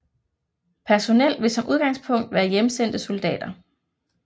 Personel vil som udgangspunkt være hjemsendte soldater